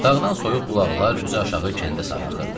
Dağdan soyuq bulaqlar üzü aşağı kəndə sarı axırdı.